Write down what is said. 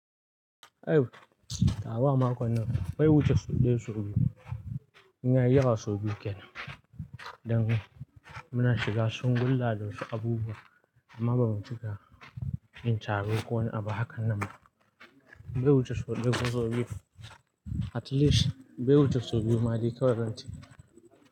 Aiwa, awa makon nan bai wuce sau ɗaya sau biyu, idan yayi yawa sau biyu kenan, dan muna shiga shungulla da wasu abubuwa amma bamu cika yin tabu kowane abu hakan nan ba. Bai wuce sau ɗaya ba sau biyu, at least bai wuce sau biyu ma dai kawai zan ce.